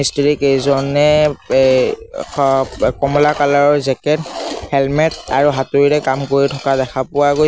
মিস্ত্ৰীকেইজনে এ হ ব কমলা কালাৰৰ জেকেট হেলমেট আৰু হাতুৰীৰে কাম কৰি থকা দেখা পোৱা গৈছে।